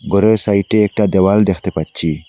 গরের সাইটে একটা দেওয়াল দ্যাখতে পাচ্ছি।